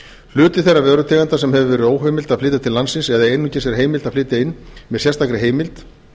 hluti þeirra vörutegunda sem áður hefur verið óheimilt að flytja til landsins eða einungis er heimilt að flytja inn með sérstakri heimild